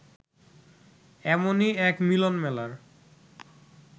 এমনই এক মিলনমেলার